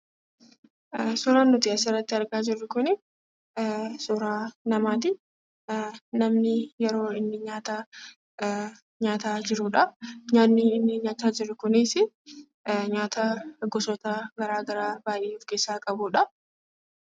Suuraan nuti asirratti argaa jirru kunii suuraa namaati. namni yeroo inni nyaata nyaataa jirudha. Nyaanni inni nyaachaa jiru kunis nyaata gosoota garagaraa baayyee of keessaa qabudha.